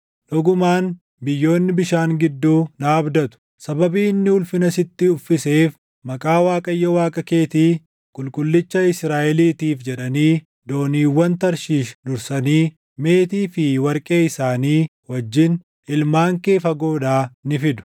Dhugumaan biyyoonni bishaan gidduu na abdatu; sababii inni ulfina sitti uffiseef, maqaa Waaqayyo Waaqa keetii, Qulqullicha Israaʼeliitiif jedhanii dooniiwwan Tarshiish dursanii, meetii fi warqee isaanii wajjin ilmaan kee fagoodhaa ni fidu.